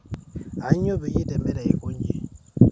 Aanyo payie itemere aikonyi